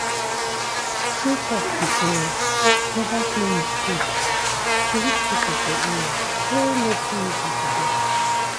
true talk be say mobile clinic good to reach people for area wey no too easy to go.